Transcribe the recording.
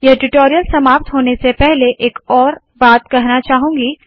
यह ट्यूटोरियल समाप्त होने से पहले एक और बात कहना चाहूंगी